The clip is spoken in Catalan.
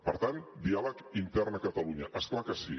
per tant diàleg intern a catalunya és clar que sí